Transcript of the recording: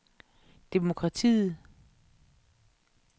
demokratiet